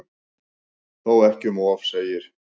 Þó ekki um of segir